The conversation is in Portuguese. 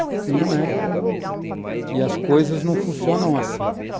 E não é. E as coisas não funcionam assim.